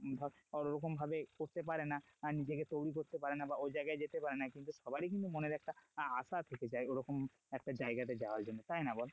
ধর আর ওরকম ভাবে করতে পারেনা আহ নিজেকে তৈরী করতে পারেনা বা ঐজায়গায় যেতে পারেনা কিন্তু সবারই কিন্তু মনের একটা আশা আছে তো যাই ওরকম একটা জায়গা তে যাওয়ার জন্য তাই না বল?